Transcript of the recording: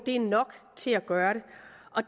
er nok til at gøre det